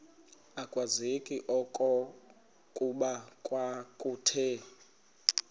akwazeki okokuba kwakuthe